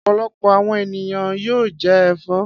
Ọ̀pọ̀lọpọ̀ àwọn ènìyàn yóò jẹ ẹ̀fọ́.